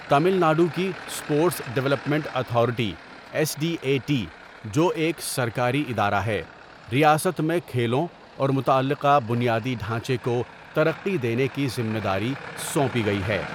تامل ناڈو کی sports development authority S D A T, جو ایک سرکاری ادارہ ہے، ریاست میں کھیلوں اور متعلقہ بنیادی ڈھانچے کو ترقی دینے کی ذمہ داری سونپی گئی ہے.